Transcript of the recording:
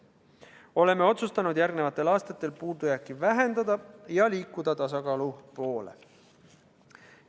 Oleme otsustanud järgmistel aastatel puudujääki vähendada ja liikuda tasakaalu poole.